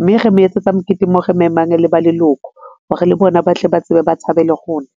mme re mo etsetsa mokete mo re memang le ba leloko hore le bona ba tle ba tsebe ba thabe le rona.